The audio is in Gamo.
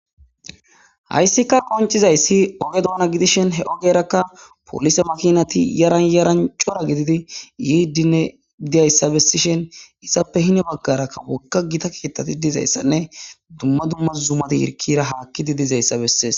Hayssika qoncizayssi oge doona gidishen he ogerakka polise makinati yaranyarancora gididi yiidinne diyayssa bessishen issappe hine baggarakka wokka gita keettati dizayssanne dumma dumma zumati yirkira haakkidi dizayssa bessees